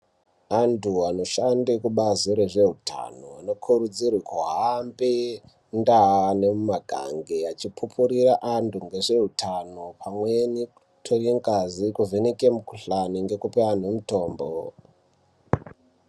Antu anoshanda kubasi rezvehutano anokurudzirwa kuhambe mundau nemumagange echikupurira antu vezvehutano pamweni kutora ngazi kuvheneka kuvheneka mikuhlani nekupa antu mitombo.